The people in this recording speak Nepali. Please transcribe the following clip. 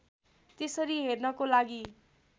त्यसरी हेर्नको लागि